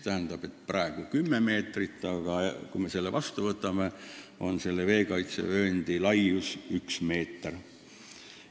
Tähendab, praegu on 10 meetrit, aga kui me selle seaduse vastu võtame, siis on selle veekaitsevööndi ulatus üks meeter.